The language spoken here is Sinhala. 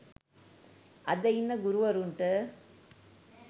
අද ඉන්න ගුරුවරුන්ට